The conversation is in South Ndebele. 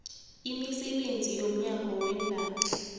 imisebenzi yomnyango weendaba